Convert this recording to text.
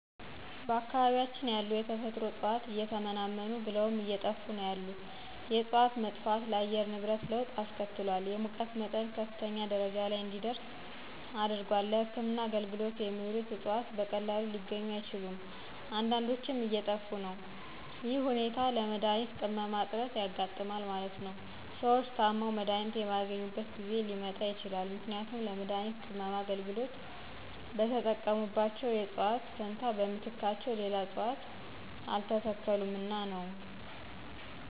በአካባቢያችን ያሉ የተፈጥሮ እጽዋት እየተመናመኑ ብለውም አየጠፉ ነው ያሉት የእጽዋት መጥፋት ለአየር ንብረት ለወጥ አስከትሏል የሙቀት መጠን ከፍተኛ ደረጃ ለይ እንዲደርስ አድርጓል። ለህክምና አገልግሎት የሚውሉት እጽዋት በቀላሉ ሊገኙ አይችሉም አንዳዶችም እየጠፊ ነው ይህ ሁኔታ ለመድሀኒት ቅመማ እጥረት ያጋጥማል ማለት ነው። ሰዎች ታመው መድሀኒት የማያገኙበት ጊዜ ሊመጣ ይችላል ምክንያቱም ለመድሀኒት ቅመማ አገልግሎት በተጠቀሙባቸው እጽዋት ፈንታ በምትካቸው ሌላ እጽዋት አልተተከሉምና ነው።